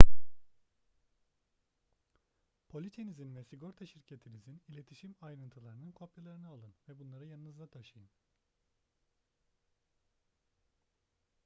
poliçenizin ve sigorta şirketinizin iletişim ayrıntılarının kopyalarını alın ve bunları yanınızda taşıyın